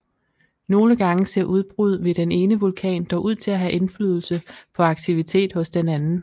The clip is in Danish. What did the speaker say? Nogle gange ser udbrud ved den ene vulkan dog ud til at have indflydelse på aktivitet hos den anden